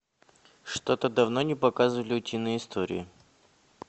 что то давно не показывали утиные истории